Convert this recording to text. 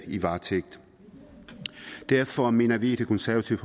i varetægt derfor mener vi i det konservative